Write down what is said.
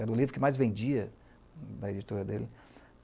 Era o livro que mais vendia na editora dele.